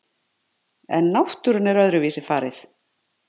En náttúrunni er öðruvísi farið.